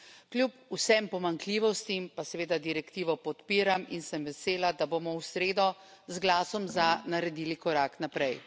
Kljub vsem pomanjkljivostim pa seveda direktivo podpiram in sem vesela, da bomo v sredo z glasom za naredili korak naprej.